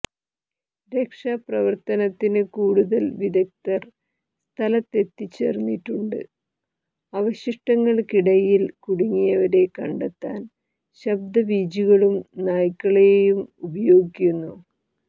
രക്ഷാ പ്രവർത്തനത്തിന് കൂടുതൽ വിദഗ്ദ്ധർ സ്ഥലത്തെത്തിച്ചേർന്നിട്ടുണ്ട് അവശിഷടങ്ങൾക്കിടയിൽ കുടുങ്ങിയവരെ കണ്ടെത്താൻ ശബ്ദവീചികളും നായ്ക്കളെയും ഉപയോഗിക്കുന്നു